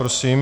Prosím.